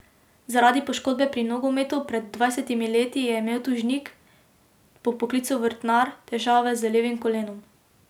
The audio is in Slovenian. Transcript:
Zaradi poškodbe pri nogometu pred dvajsetimi leti je imel tožnik, po poklicu vrtnar, težave z levim kolenom.